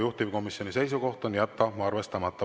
Juhtivkomisjoni seisukoht on jätta arvestamata.